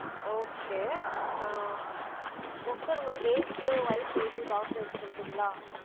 Okay அ sir உங்க age, wife age, daughter age சொல்ட்ரிங்கல